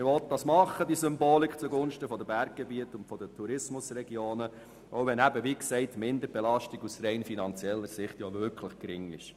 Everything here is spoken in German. Man will dies als Symbol zugunsten der Berggebiete und der Tourismusregionen machen, auch wenn die Minderbelastung aus rein finanzieller Sicht wirklich gering ist.